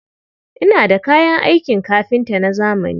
Ina da kayan aikin kafinta na zamani.